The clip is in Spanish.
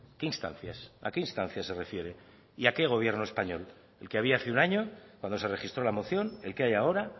qué instancias a qué instancias se refiere y a qué gobierno español el que había hace un año cuando se registró la moción el que hay ahora